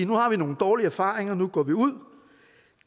nu har vi nogle dårlige erfaringer nu går vi ud